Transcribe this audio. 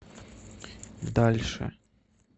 дальше